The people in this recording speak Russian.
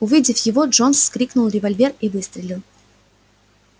увидев его джонс вскринул револьвер и выстрелил